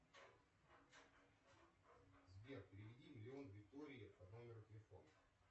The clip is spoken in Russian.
сбер переведи миллион виктории по номеру телефона